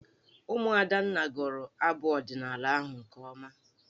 Ụmụ Adanna gụrụ abụ ọdịnaala ahụ nke ọma.